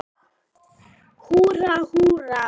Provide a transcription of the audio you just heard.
Húrra, húrra!